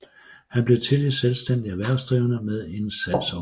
Han blev tidligt selvstændig erhvervsdrivende med en salgsorganisation